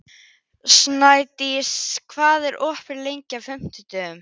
Steindís, hvað er opið lengi á fimmtudaginn?